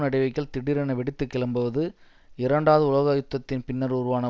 நடவடிக்கைகள் திடீரென வெடித்து கிளம்புவது இரண்டாவது உலக யுத்தத்தின் பின்னர் உருவான